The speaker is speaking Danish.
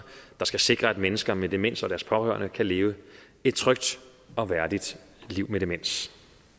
der skal sikre at mennesker med demens og deres pårørende kan leve et trygt og værdigt liv med demens